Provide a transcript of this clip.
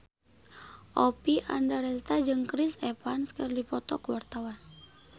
Oppie Andaresta jeung Chris Evans keur dipoto ku wartawan